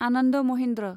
Anand Mahindra